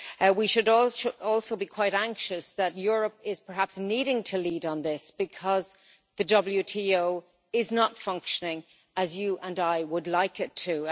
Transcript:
We should also be quite anxious that Europe is perhaps needing to lead on this, because the WTO is not functioning as you and I would like it to.